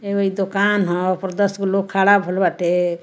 अ एगो दूकान है ऊपर दस गो लोग खड़ा होइल बाटे।